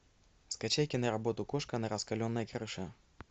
скачай киноработу кошка на раскаленной крыше